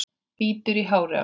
Bítur í hárið á sér.